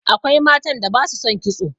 Akwai matan da ba su son kitso.